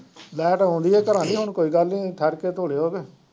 light ਹੁੰਦੀ ਆ ਘਰਾਂ ਦੀ ਹੁਣ ਕੋਈ ਗੱਲ ਨੀ ਠਹਿਰ ਕੇ ਧੋ ਲਿਉ ਤੇ।